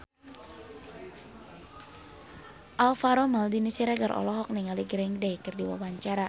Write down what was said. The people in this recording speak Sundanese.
Alvaro Maldini Siregar olohok ningali Green Day keur diwawancara